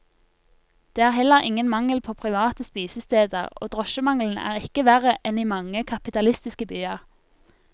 Det er heller ingen mangel på private spisesteder, og drosjemangelen er ikke verre enn i mange kapitalistiske byer.